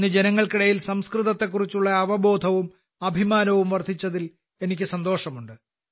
ഇന്ന് ജനങ്ങൾക്കിടയിൽ സംസ്കൃതത്തെക്കുറിച്ചുള്ള അവബോധവും അഭിമാനവും വർദ്ധിച്ചതിൽ എനിക്ക് സന്തോഷമുണ്ട്